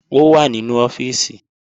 Ó wà nínú ọ́fíìsì